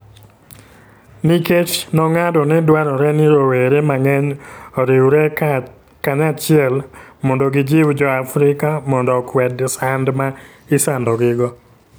Nikech nong'ado ni dwarore ni rowere mang'eny oriwre kanyachiel mondo gijiw Jo - Afrika mondo okwed sand ma isandogigo,